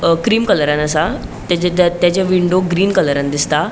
अ cream कलरान असा तेजे अ तेजे विंडो ग्रीन कलरान दिसता.